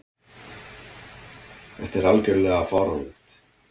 Þetta er algjörlega fáránlegt.